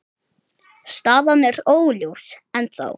Staðan er óljós ennþá.